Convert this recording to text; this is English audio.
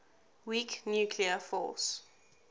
weak nuclear force